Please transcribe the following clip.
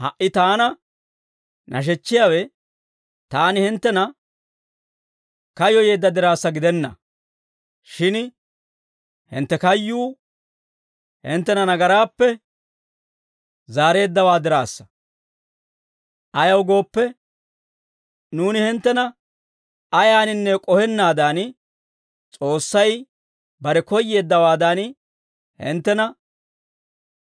Ha"i taana nashechchiyaawe taani hinttena kayyoyeedda diraassa gidenna; shin hintte kayyuu hinttena nagaraappe zaareeddawaa diraassa; ayaw gooppe, nuuni hinttena ayaaninne k'ohennaadan, S'oossay bare koyyeeddawaadan, hinttena